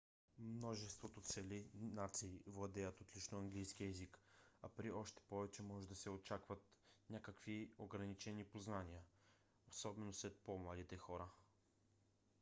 множество цели нации владеят отлично английски език а при още повече може да се очакват някакви ограничени познания - особено сред по-младите хора